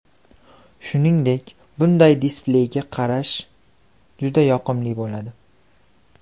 Shuningdek, bunday displeyga qarash juda yoqimli bo‘ladi.